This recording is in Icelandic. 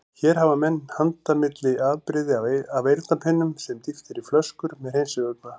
Hér hafa menn handa milli afbrigði af eyrnapinnum sem dýft er í flöskur með hreinsivökva.